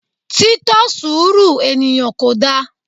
Tí tọ surú eníyan Kodá